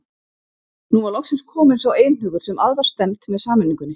Nú var loksins kominn sá einhugur sem að var stefnt með sameiningunni.